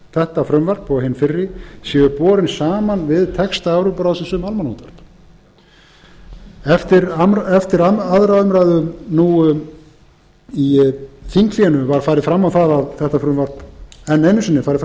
þetta frumvarp og hin fyrri séu borin saman við texta evrópuráðsins um almannaútvarp á fundum nefndarinnar eftir aðra umræðu nú í þinghléi var enn einu sinni farið